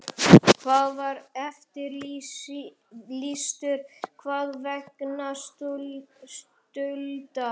Hann var eftirlýstur þar vegna skulda.